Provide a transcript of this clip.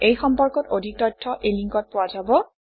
এই সম্পৰ্কত অধিক তথ্য এই লিংকত পোৱা যাব